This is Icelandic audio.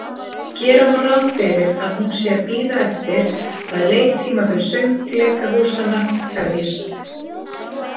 Gera má ráð fyrir, að hún sé að bíða eftir, að leiktímabil söngleikahúsanna hefjist.